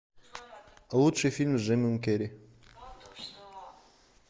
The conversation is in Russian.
лучший фильм с джимом керри